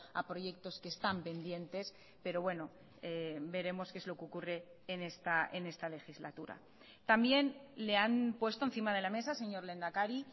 a proyectos que están pendientes pero bueno veremos que es lo que ocurre en esta legislatura también le han puesto encima de la mesa señor lehendakari